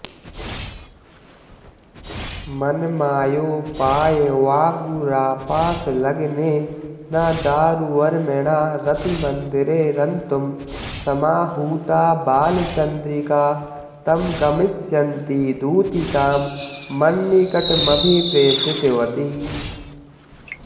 मन्मायोपायवागुरापाशलग्नेन दारुवर्मणा रतिमन्दिरे रन्तुं समाहूता बालचन्द्रिका तं गमिष्यन्तीदूतिकां मन्निकटमभिप्रेषितवती